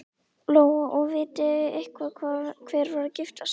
Lóa: Og vitið þið eitthvað hver var að gifta sig?